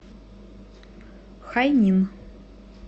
хайнин